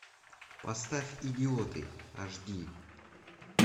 поставь идиоты аш ди